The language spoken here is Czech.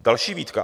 Další výtka.